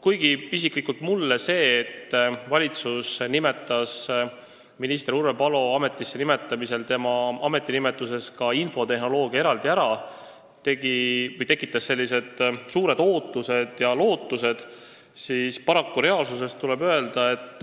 Kuigi isiklikult minus tekitas see, et minister Urve Palo ametinimetuses nimetati ka infotehnoloogia eraldi ära, suuri ootusi ja lootusi, siis paraku reaalsust vaadates tuleb öelda, et